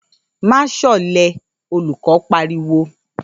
‘Má s̩ò̩lé!’, olù̩kó̩ pariwo